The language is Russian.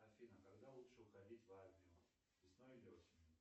афина когда лучше уходить в армию весной или осенью